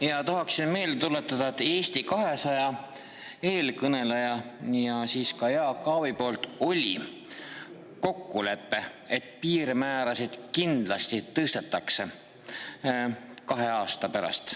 Ja tahaksime meelde tuletada, et Eesti 200 eelkõneleja ja ka Jaak Aab ütlesid, et oli kokkulepe: piirmäärasid kindlasti tõstetakse kahe aasta pärast.